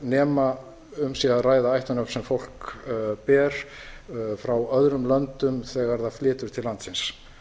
nema um sé að ræða ættarnöfn sem fólk ber frá öðrum löndum þegar það flytur til landsins